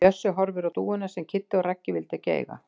Bjössi horfir á dúfuna sem Kiddi og Raggi vildu ekki eiga.